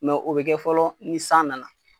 Mɛ o bɛ kɛ fɔlɔ ni san nana